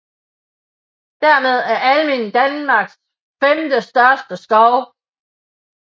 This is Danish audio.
Dermed er Almindingen Danmarks femtestørste skov